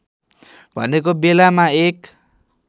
भनेको बेलामा एक